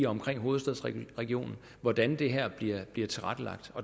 omkring hovedstaden hvordan det her bliver bliver tilrettelagt